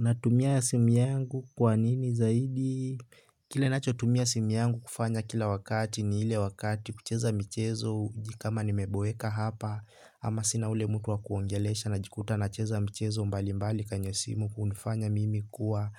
Natumia ya simu yangu kwa nini zaidi? Kile nacho tumia simu yangu kufanya kila wakati ni ile wakati kucheza michezo kama nimeboeka hapa ama sina ule mtu wakuongelesha najikuta nacheza mchezo mbali mbali kwenye simu kunufanya mimi kuwa